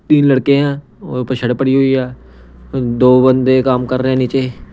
तीन लड़के हैंऔर ऊपर शड़ पड़ी हुई है दो बंदे काम कर रहे हैं नीचे।